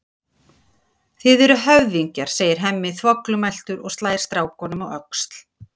Þið eruð höfðingjar, segir Hemmi þvoglumæltur og slær strákunum á öxl.